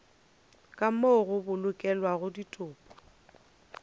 ka moo go bolokelwago ditopo